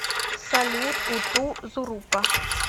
салют уту зурупа